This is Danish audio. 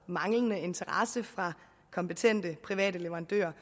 manglende interesse fra kompetente private leverandører